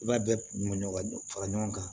I b'a bɛɛ ka fara ɲɔgɔn kan